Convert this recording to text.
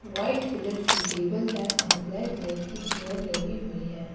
White colour की table है और ब्लैक कलर की चेयर लगी हुई हैं।